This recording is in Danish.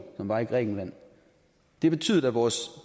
som var i grækenland det betød at vores